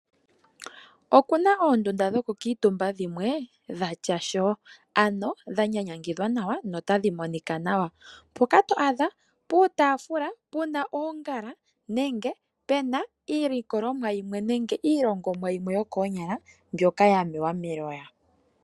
Okuna oondunda dhoku kuutumba dhimwe dhatya sho. Ano dha nyanyangidhwa nawa no tadhi monika nawa. Mpoka to adha puutafula puna oongala nenge pena iilikolomwa yimwe nenge iilogomwa yimwe yokoonyala mbyoka ya mewa meloya.